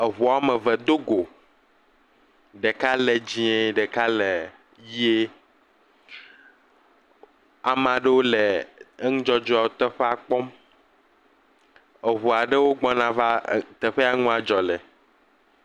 Eŋu woame evewo do gɔ, ɖeka le dzɛe, ɖeka le ʋi. ame aɖewo le nudzɔdzɔa kpɔm. Eŋu aɖewo gbɔna va teƒe yak e enua dzɔ le.